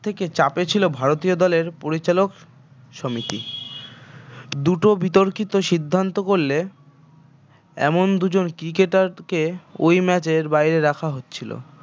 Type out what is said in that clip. থেকে চাপে ছিল ভারতীয় দলের পরিচালক সমিতি দুটো বিতর্কিত সিদ্ধান্ত করলে এমন দুজন cricketer কে ওই match এর বাইরে রাখা হচ্ছিল